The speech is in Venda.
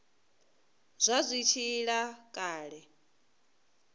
vha zwi tshi ila kale